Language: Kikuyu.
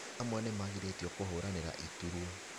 Amwe nĩmagirĩtio kũhũranĩra iturwa